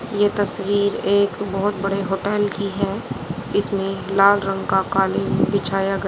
ये तस्वीर एक बहोत बड़े होटल की है इसमें लाल रंग का कालीन बिछाया ग--